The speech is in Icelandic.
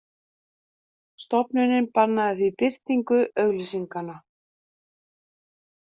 Stofnunin bannaði því birtingu auglýsinganna